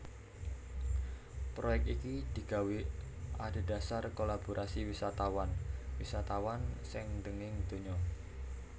Proyek iki digawé adhedhasar kolaborasi wisatawan wisatawan saindhenging donya